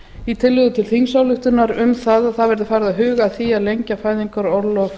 í tillögu til þingsályktunar um að það verði farið að huga að því að lengja fæðingarorlof